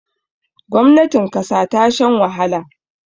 gwamnatin kasa ta shan wahala